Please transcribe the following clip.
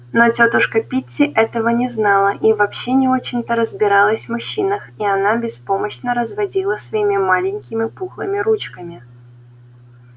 но тётушка питти этого не знала и вообще не очень-то разбиралась в мужчинах и она беспомощно разводила своими маленькими пухлыми ручками